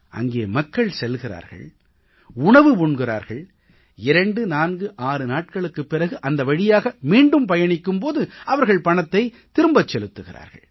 அங்கே மக்கள் செல்கிறார்கள் உணவு உண்கிறார்கள் 246 நாட்களுக்குப் பிறகு அந்த வழியாக மீண்டும் பயணிக்கும் போது அவர்கள் பணத்தைத் திரும்பச் செலுத்துகிறார்கள்